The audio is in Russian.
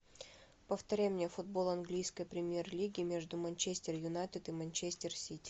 повторяй мне футбол английской премьер лиги между манчестер юнайтед и манчестер сити